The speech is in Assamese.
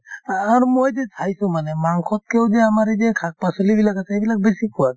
আ আৰু মই যি চাইছো মানে মাংসতকেও যে আমাৰ এই যে শাক-পাচলিবিলাক আছে সেইবিলাক বেছি সোৱাদ